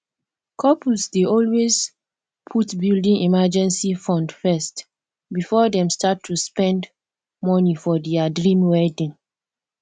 couples dey always put building emergency fund first before dem start to spend money for dia dream wedding